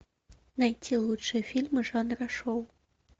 найти лучшие фильмы жанра шоу